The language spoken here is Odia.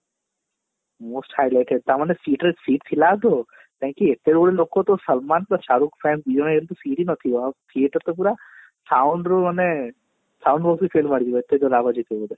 most highlighted ତା ମାନେ seat ରେ seat ଥିଲା ଆଗ କାହିଁ କି ଏତେବେଳୁ ଲୋକ ତ ସଲମାନ ଶାହରୁଖ fan ଫିଙ୍ଗି ନଥିବ ଆଉ theater ତ ପୁରା sound ରୁ ମାନେ sound